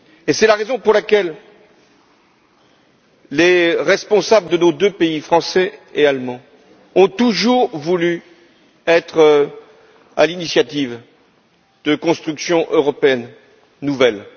C'est la raison pour laquelle les responsables de nos deux pays, français et allemands, ont toujours voulu être à l'initiative de constructions européennes nouvelles.